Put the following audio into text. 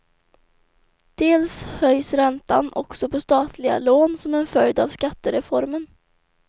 Dels höjs räntan också på statliga lån som en följd av skattereformen.